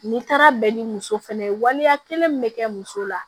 N'i taara bɛn ni muso fɛnɛ ye waleya kelen min bɛ kɛ muso la